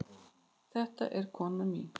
Þetta er konan mín.